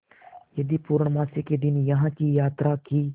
यदि पूर्णमासी के दिन यहाँ की यात्रा की